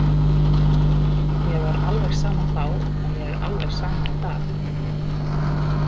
Mér var alveg sama þá og mér er alveg sama í dag.